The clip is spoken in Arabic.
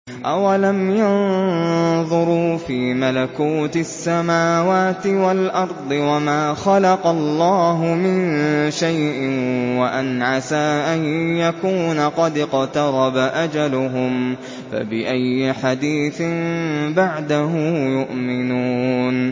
أَوَلَمْ يَنظُرُوا فِي مَلَكُوتِ السَّمَاوَاتِ وَالْأَرْضِ وَمَا خَلَقَ اللَّهُ مِن شَيْءٍ وَأَنْ عَسَىٰ أَن يَكُونَ قَدِ اقْتَرَبَ أَجَلُهُمْ ۖ فَبِأَيِّ حَدِيثٍ بَعْدَهُ يُؤْمِنُونَ